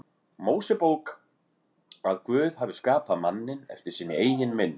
Mósebók að Guð hafi skapað manninn eftir sinni eigin mynd.